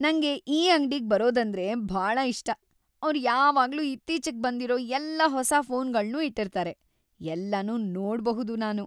ನಂಗೆ ಈ ಅಂಗ್ಡಿಗ್ ಬರೋದಂದ್ರೆ ಭಾಳ ಇಷ್ಟ. ಅವ್ರು ಯಾವಾಗ್ಲೂ ಇತ್ತೀಚಿಗ್‌ ಬಂದಿರೋ ಎಲ್ಲ ಹೊಸಾ ಫೋನ್‌ಗಳ್ನೂ ಇಟ್ಟಿರ್ತಾರೆ.. ಎಲ್ಲನೂ ನೋಡ್ಬಹುದು ನಾನು.